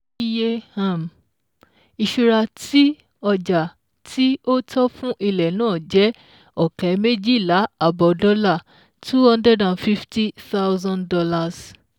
Iye um ìṣura tí ọjà tí ó tọ́ fún ilẹ̀ náà jẹ́ ọ̀kẹ́ méjìlá àbọ̀ dọ́là ($250,000)